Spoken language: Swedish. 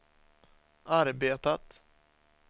arbetat